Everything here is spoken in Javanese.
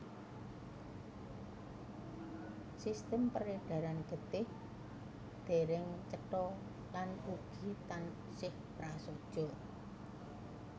Sistem peredaran getih dèrèng cetha lan ugi taksih prasaja